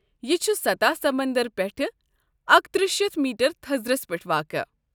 یہ چُھ سطح سمندر پٮ۪ٹھٕ اکتٔرہ شیتھ میٹر تھزرس پٮ۪ٹھ واقع